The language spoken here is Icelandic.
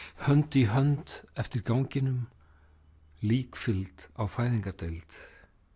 hönd í hönd eftir ganginum líkfylgd á fæðingardeild